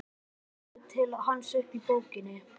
Hún lítur til hans upp úr bókinni.